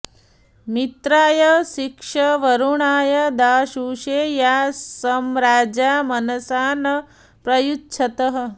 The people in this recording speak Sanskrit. मि॒त्राय॑ शिक्ष॒ वरु॑णाय दा॒शुषे॒ या स॒म्राजा॒ मन॑सा॒ न प्र॒युच्छ॑तः